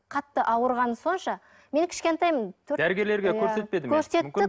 қатты ауырғаным сонша мен кішкентаймын дәрігерлерге көрсетпеді ме көрсетті